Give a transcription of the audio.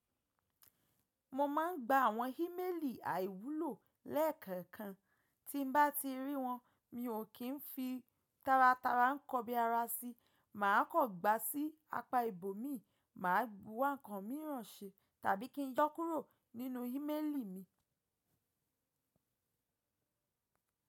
Mo ma n gba àwọn í mélì àìwúlò lẹ́ẹ̀kẹ̀kan, tí n bá ti rí wọn mi ò kí n fi taratara kọbi ara si, màá kọ gba sí apá ibò mi, màá buwa ǹkan míràn ṣe tàbí kí n yọ kúrò nínú í mélì mi.